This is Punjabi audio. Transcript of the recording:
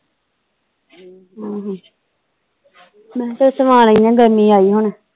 ਆਹੋ ਮੈ ਕਿਹਾ ਚੱਲ ਸਵਾ ਲੈਣਾ ਗਰਮੀ ਆਈ ਹੁਣ